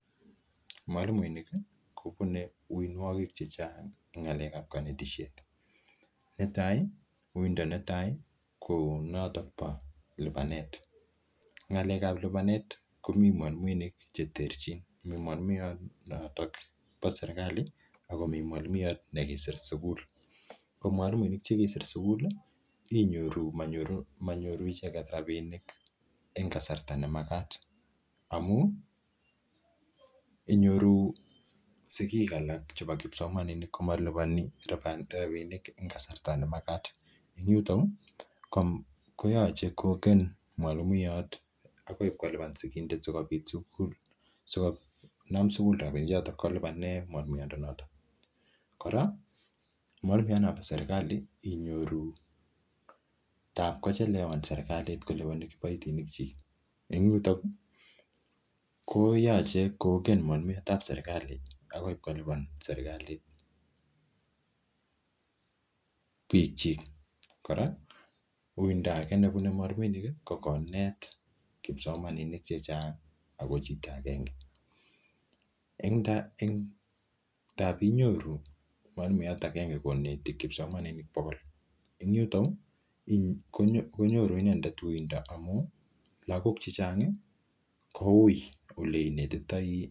Mwalimuinink kobune uinwogik che chang en ng'alekab konetishet. Uindo netai konoto bo lipanet. Ng'alekab lipanetkomi mwalimuinik che terchin, mimwalimuyat nebo serkalit ak komi mwalimuyot nekisr sugul. Ko mwalimuinik che kisir sugul inyoru manyoru icheget rabinik en kasarta nemagat amun inyoru sigik alak chebo kipsomaninik komoliponi rabinik en kasarta nemagat. En yuto koyoche kogeny mwalimuyat agoi kolipan sigindet sikonam sugul rabinichoto kolipanen mwalimuek choto. Kora mwalimuyat nebo serkali inyoru nan kochelewan serkalit kolipan kiboitinikyik. Inyoru en yuto koyoche kogen mwalimuyatab serikali agoi kolipan serkalit biikyik. Kora uindo nebune mwalimuinik ko konet kipsomaninik che chang ago chito agenge. En tab inyoru mwalimuyat agenge koneti kipsomaninik bogol en yuto konyoru inendet uindo amun lagok chechang ko uuiy ole inetitoi.